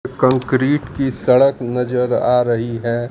Concrete की सड़क नजर आ रही है।